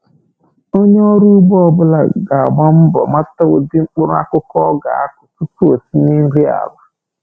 Onye ọrụ ugbo ọ bụla ga-agba mbọ mata ụdị mkpụrụakụkụ ọ ga-akụ tupu o tinye nri ala.